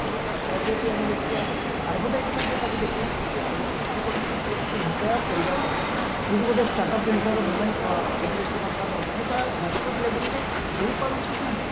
ଯଦି ଆମେ ଦେଖିବା advertisementରେ ତାକୁ ଯେତିକି ଖର୍ଚ କରୁଚନ୍ତି youthକୁ impair କରିବା ପାଇଁ କିନ୍ତୁ ଗୋଟେ start up indiaଆର moment କେନ୍ଦ୍ର ସରକାର ନେଉଛନ୍ତି ତା ହେଇପାରୁଛି ନା ନାଇଁ